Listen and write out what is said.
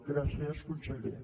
gràcies conseller